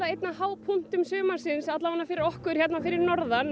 einn af hápunktum sumarsins allavega fyrir okkur hérna fyrir norðan